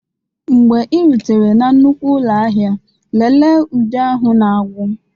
Mgbe ị rutere na nnukwu ụlọ ahịa lelee ude ahụ na-agwụ